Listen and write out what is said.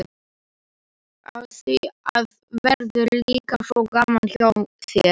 Af því þá verður líka svo gaman hjá mér.